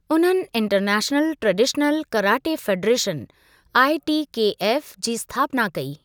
उन्हनि international traditional karate federation (ITKF) जी स्थापना कई।